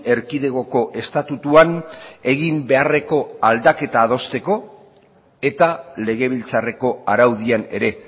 erkidegoko estatutuan egin beharreko aldaketa adosteko eta legebiltzarreko araudian ere